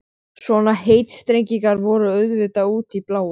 Magnús Geir Eyjólfsson: Er þetta síðasti dagur borgarstjóra?